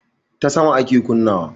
Ta sama ake kunna wa